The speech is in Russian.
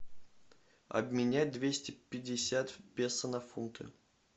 обменять двести пятьдесят песо на фунты